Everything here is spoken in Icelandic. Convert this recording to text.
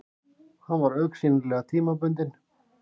Hann var augsýnilega tímabundinn.